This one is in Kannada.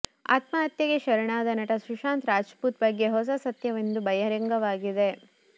ಆತ್ಮಹತ್ಯೆಗೆ ಶರಣಾದ ನಟ ಸುಶಾಂತ್ ರಜಪೂತ್ ಬಗ್ಗೆ ಹೊಸ ಸತ್ಯವೊಂದು ಬಹಿರಂಗವಾಗಿದೆ